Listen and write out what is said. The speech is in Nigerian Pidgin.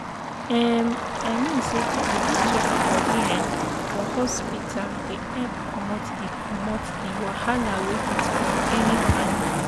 emm i mean say to dey go check bodi um for hospita dey epp commot di commot di wahala wey fit come anytime.